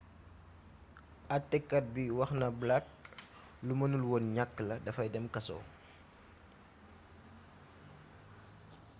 atekat bi wax na blake lu mënul woon ñakk la dafay dem kaso